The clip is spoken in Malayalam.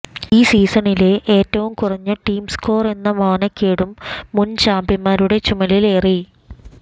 ഈ സീസണിലെ ഏറ്റവും കുറഞ്ഞ ടീം സ്കോര് എന്ന മാനക്കേടും മുന് ചാമ്പ്യന്മാരുടെ ചുമലിലേറി